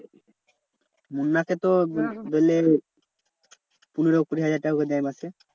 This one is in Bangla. মুন্না কে তো ধরলে পনেরো কুড়ি হাজার টাকা করে দেয় মাসে?